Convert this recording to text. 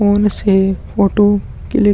phone से photo click --